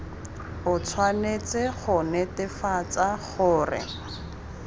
o tshwanetse go netefatsa gore